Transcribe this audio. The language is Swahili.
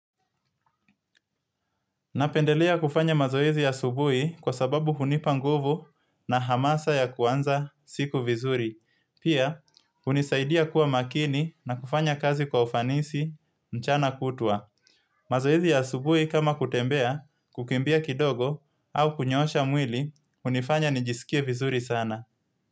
Napendelea kufanya mazoezi ya asubui kwa sababu hunipa nguvu na hamasa ya kuanza siku vizuri. Pia, unisaidia kuwa makini na kufanya kazi kwa ufanisi mchana kutua. Mazoezi ya saubui kama kutembea, kukimbia kidogo au kunyosha mwili, unifanya nijisikie vizuri sana.